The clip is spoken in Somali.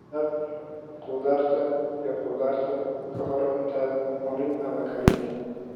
Dhaq khudaarta iyo khudaarta ka hor intaadan cunin ama karinin.